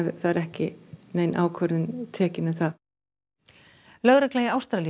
það er ekki nein ákvörðun tekin um það lögregla í Ástralíu